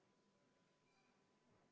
Muudatusettepaneku nr 2 on esitanud juhtivkomisjon.